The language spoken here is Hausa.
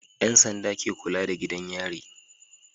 Yan sanda ke kulada da gidan yari